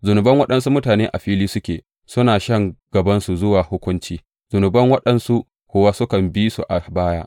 Zunuban waɗansu mutane a fili suke, suna shan gabansu zuwa hukunci; zunuban waɗansu kuwa sukan bi su a baya.